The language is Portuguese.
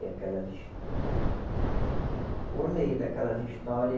E aquelas história. Por meio daquelas história